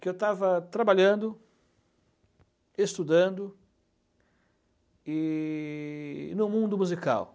Que eu estava trabalhando, estudando e e no mundo musical.